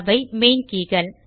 அவை மெயின் கே கள்